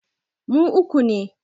Mu uku ne